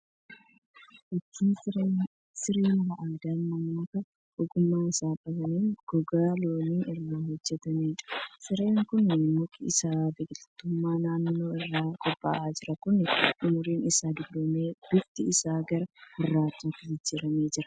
Fakkii siree mala aadaan namoota ogummaa isaa qabaniin gogaa loonii irraa hojjetamaniidha. Sireen kun muki isaa biqilootuma naannoo irraa qophaa'a. Sireen kun umriin isaa dulloomee bifti isaa gara gurraachaatti jijjiiramaa jira.